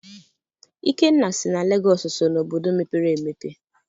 Ikenna sị na Lagos so na obodo mepere emepe.